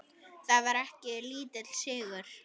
Það var ekki lítill sigur!